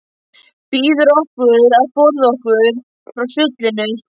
Biður okkur að forða okkur frá sullinu.